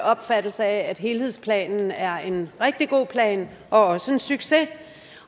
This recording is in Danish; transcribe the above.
opfattelse af at helhedsplanen er en rigtig god plan og også en succes